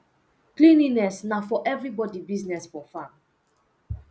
cleanliness na for everibodi business for farm